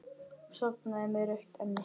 Sofnaði með rautt enni.